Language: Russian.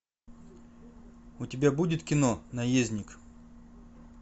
у тебя будет кино наездник